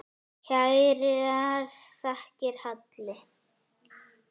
Kærar þakkir, Halli.